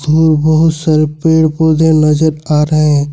बहुत सारे पेड़ पौधे नजर आ रहे हैं।